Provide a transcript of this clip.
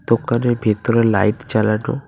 দোকানের ভেতরে লাইট জ্বালানো।